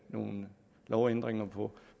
nogle lovændringer på